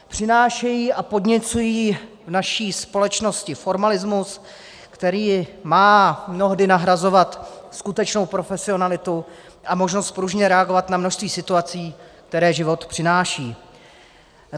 Přinášejí a podněcují v naší společnosti formalismus, který má mnohdy nahrazovat skutečnou profesionalitu a možnost pružně reagovat na množství situací, které život přináší.